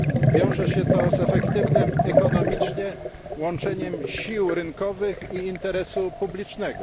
Wiąże się to z efektywnym ekonomicznie łączeniem sił rynkowych i interesu publicznego.